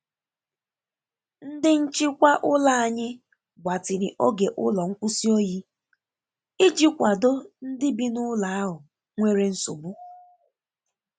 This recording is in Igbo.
Ndi Nchịkwa ụlọ anyị gbatịrị oge ụlọ nkwụsị oyi iji kwado ndị bi n'ụlọ ahụ nwere nsogbu.